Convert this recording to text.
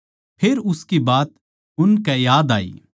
फेर उसकी बात उसकै याद आई